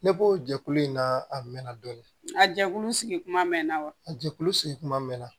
Ne b'o jɛkulu in na a mɛnna dɔɔni a jɛkulu sigi kuma mɛn wa a jɛkulu sigi kuma mɛn